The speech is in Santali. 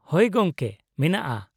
ᱦᱳᱭ, ᱜᱚᱝᱠᱮ, ᱢᱮᱱᱟᱜᱼᱟ ᱾